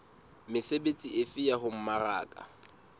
mesebetsi efe ya ho mmaraka